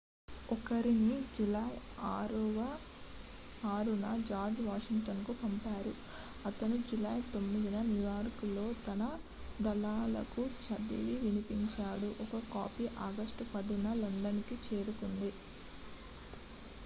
ఒకరిని జూలై 6న జార్జ్ వాషింగ్టన్కు పంపారు అతను జూలై 9న న్యూయార్క్లోని తన దళాలకు చదివి వినిపించాడు ఒక కాపీ ఆగస్టు 10న లండన్కు చేరుకుంది